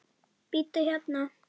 Bíddu hérna.